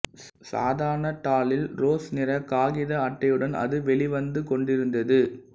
சாதாரணத் தாளில் ரோஸ் நிறக் காகித அட்டையுடன் அது வெளிவந்து கொண்டிருந்தது